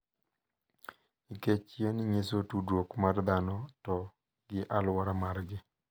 Nikech yien nyiso tudruok mar dhano to gi alwora margi.